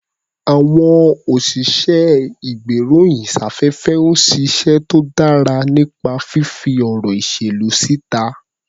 Àwọn òsìṣẹ́-ìgbéròyìn-sáfẹ́fẹ́ ń ṣiṣẹ́ tó dára nípa fífí ọ̀rọ̀ ìṣèlú síta.